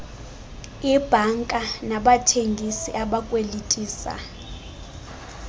iibhanka nabathengisi abakwelitisa